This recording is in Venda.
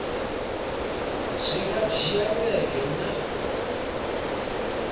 zwi nga dzhia vhege nṋa